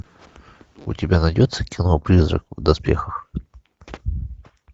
у тебя найдется кино призрак в доспехах